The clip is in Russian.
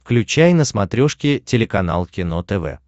включай на смотрешке телеканал кино тв